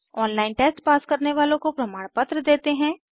online test pass करने वालों को प्रमाणपत्र देते हैं